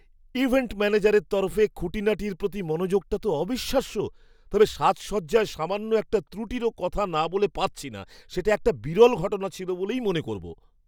Event ম্যানেজারের তরফে খুঁটিনাটির প্রতি মনোযোগটা তো অবিশ্বাস্য, তবে সাজসজ্জায় সামান্য একটা ত্রুটিরও কথা না বলে পারছি না। সেটা একটা বিরল ঘটনা ছিল বলেই মনে করব।